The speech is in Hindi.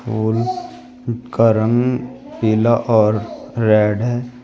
फूल का रंग पीला और रेड है।